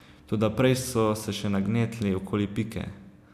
Toda prej so se še nagnetli okoli Pike.